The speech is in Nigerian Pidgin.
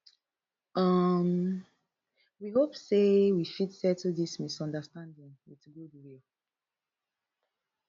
um we hope hope say wey fit settle dis misunderstanding wit goodwill